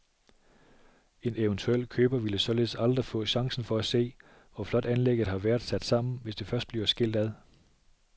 En eventuel køber ville således aldrig få chancen for at se, hvor flot anlægget har været sat sammen, hvis det først bliver skilt ad.